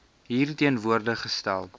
hier teenwoordig gestel